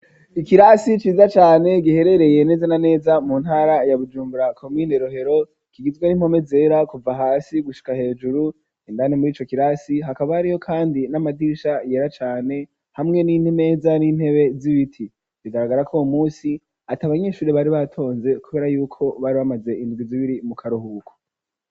Ikirasi ciza cane giherereye neza na neza mu ntara ya Bujumbura komine Rohero kigizwe n'impome zera kuva hasi gushika hejuru indani murico kirasi hakaba hariyo kandi n'amadisha yera cane hamwe n'imeza n'intebe z'ibiti bigaragarako uwo musi atabanyeshuri bari batonze kubera yuko bari bamaze indwi zibiri mu karuhubuko.